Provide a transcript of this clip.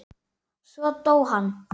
Svo dó hann.